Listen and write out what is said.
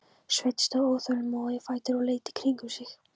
Sveinn stóð óþolinmóður á fætur og leit í kringum sig.